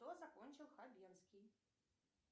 что закончил хабенский